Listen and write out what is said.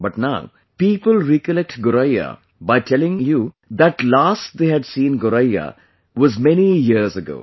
But now people recollectGoraiya by telling you that last they had seen Goraiyawas many years ago